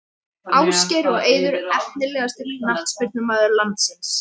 Ásgeir og Eiður Efnilegasti knattspyrnumaður landsins?